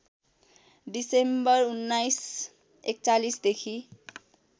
December १९४१ देखि